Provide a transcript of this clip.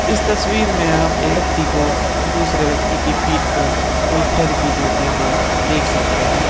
इस तस्वीर मैं आप एक व्यक्ती को दूसरे व्यक्ती की पीठ पे कोई थेरपी देते हुए देख सकते है।